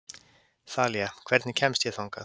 Þalía, hvernig kemst ég þangað?